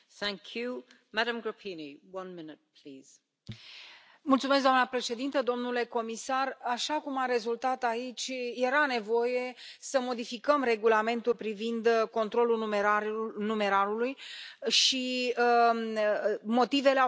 Doamna președintă, domnule comisar, așa cum a rezultat aici, era nevoie să modificăm regulamentul privind controlul numerarului și motivele au fost bine expuse și de către Comisie, în propunerea Comisiei, și de către